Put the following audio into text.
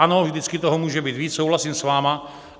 Ano, vždycky toho může být víc, souhlasím s vámi.